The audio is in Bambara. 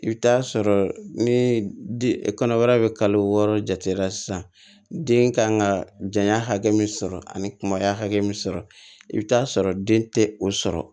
I bɛ taa sɔrɔ ni kɔnɔbara bɛ kalo wɔɔrɔ jate la sisan den kan ka janya hakɛ min sɔrɔ ani kumaya hakɛ min sɔrɔ i bɛ taa sɔrɔ den tɛ o sɔrɔ